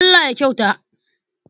Allah ya kyauta.